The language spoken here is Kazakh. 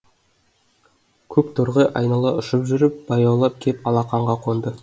көк торғай айнала ұшып жүріп баяулап кеп алақанға қонды